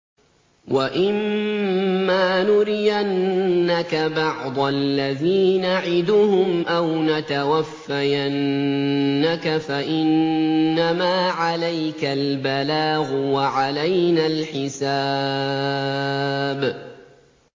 وَإِن مَّا نُرِيَنَّكَ بَعْضَ الَّذِي نَعِدُهُمْ أَوْ نَتَوَفَّيَنَّكَ فَإِنَّمَا عَلَيْكَ الْبَلَاغُ وَعَلَيْنَا الْحِسَابُ